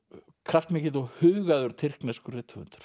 kraftmikill og hugaður tyrkneskur rithöfundur